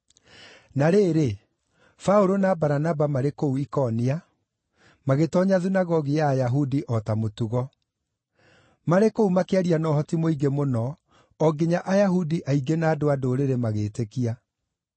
Na rĩrĩ, Paũlũ na Baranaba marĩ kũu Ikonia, magĩtoonya thunagogi ya Ayahudi o ta mũtugo. Marĩ kũu makĩaria na ũhoti mũingĩ mũno o nginya Ayahudi aingĩ na andũ-a-Ndũrĩrĩ magĩĩtĩkia.